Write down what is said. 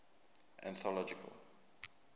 anthological